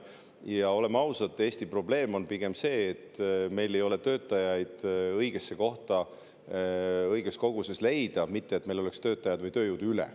Ja oleme ausad, Eesti probleem on pigem see, et meil ei ole töötajaid õigesse kohta õiges koguses leida, mitte see, et meil oleks töötajaid või tööjõudu üle.